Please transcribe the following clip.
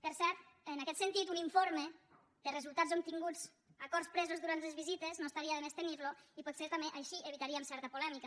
per cert en aquest sentit un informe de resultats obtinguts acords presos durant les visites no estaria de més tenirlo i potser també així evitaríem certa polèmica